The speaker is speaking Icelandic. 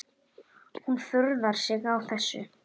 Hún furðar sig á þessu.